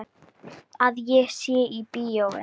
Að ég sé í bíói.